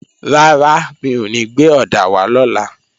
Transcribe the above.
Rárá, mi ò ní gbé ọ̀dà wá lọ́la